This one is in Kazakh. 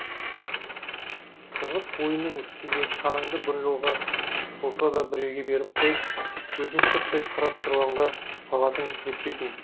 қызық ойынның үстінде шанаңды бір жолға болса да біреуге беріп қойып өзің сырттай қарап тұрғанға тағатың жетпейтін